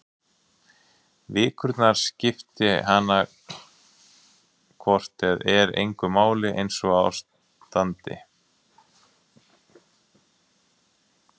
Vikurnar skipti hana hvort eð er engu máli einsog á standi.